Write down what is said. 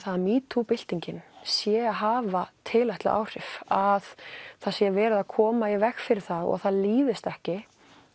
að metoo byltingin sé að hafa tilætluð áhrif að það sé verið að koma í veg fyrir það og að það líðist ekki